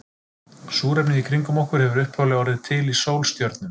Súrefnið í kringum okkur hefur upphaflega orðið til í sólstjörnum.